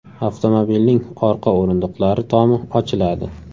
Avtomobilning orqa o‘rindiqlari tomi ochiladi.